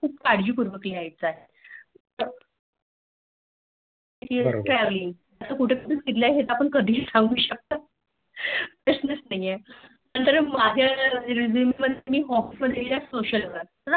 खूप काळजीने पूर्वक लिहायचं आहे कधीही सांगू शकतो प्रश्नच नाही